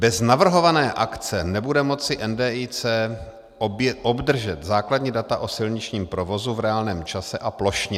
Bez navrhované akce nebude moci NDIC obdržet základní data o silničním provozu v reálném čase a plošně.